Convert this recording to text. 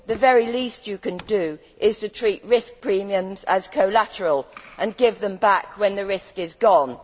the very least you can do is to treat risk premiums as collateral and give them back when the risk is gone.